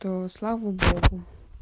то слава богу